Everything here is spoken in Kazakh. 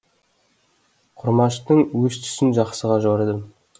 құрмаштың өз түсін жақсыға жорыдым